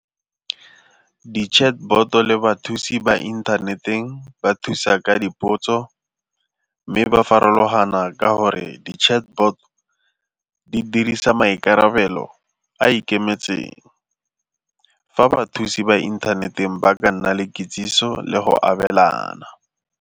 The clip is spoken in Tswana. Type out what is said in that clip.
Di-chatbot le bathusi ba inthaneteng ba thusa ka dipotso mme ba farologana ka gore di-chatbot di dirisa maikarabelo a ikemetseng, fa ba thusi ba inthaneteng ba ka nna le kitsiso le go abelana.